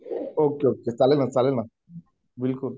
okay okay चालेल ना चालेल ना बिलकुल बिलकुल